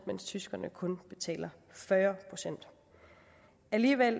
mens tyskerne kun betaler fyrre procent alligevel